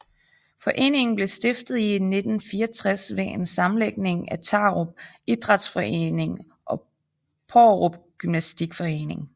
Foreningen blev stiftet i 1964 ved en sammenlægning af Tarup Idrætsforening og Paarup Gymnastikforening